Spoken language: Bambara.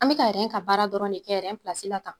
An bɛ ka ka baara dɔrɔn de kɛ la tan.